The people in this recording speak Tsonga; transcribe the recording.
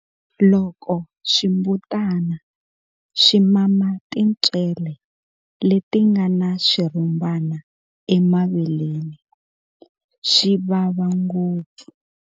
Loko swimbutana swi mama tintswele leti nga na swirhumbana emaveleni, swi vava ngopfu.